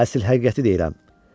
Əsl həqiqəti deyirəm.